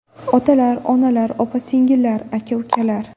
Otalar, onalar, opa-singillar, aka-ukalar!